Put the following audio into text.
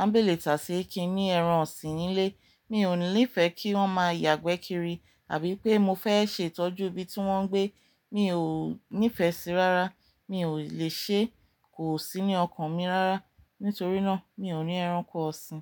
An bẹ́letasi sí i kí n ni ẹran ọ̀sìn nílé, mi ò nifẹ́ kí wọ́n máa yàgbẹ́ kiri àbí pé mo fẹ́ ṣètọ́jú ibi tí wọ́n ń gbé, mi ò nífẹṣi rárá, mi ò lè ṣe, kò sí ní ọkàn mi rárá. Nítorí náà mi ò ní ẹranko ọ̀sìn.